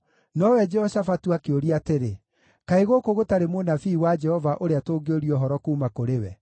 Nowe Jehoshafatu akĩũria atĩrĩ, “Kaĩ gũkũ gũtarĩ mũnabii wa Jehova ũrĩa tũngĩũria ũhoro kuuma kũrĩ we?”